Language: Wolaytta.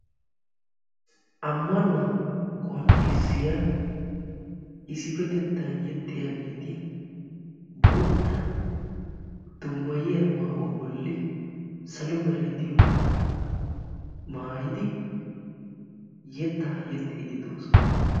Ammanuwa qonccissiya issipetettan yexxiyaageeti boottaa dummayiya maayuwa bolli salo meray diyooga maayidi yetta yeexxidi doosona.